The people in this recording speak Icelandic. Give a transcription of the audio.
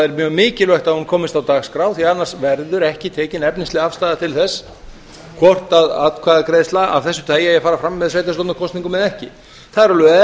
er mjög mikilvægt að hún komist á dagskrá því annars verður ekki tekin efnisleg afstaða til þess hvort atkvæðagreiðsla af þessu tagi eigi að fara fram með sveitarstjórnarkosningum eða ekki það eru alveg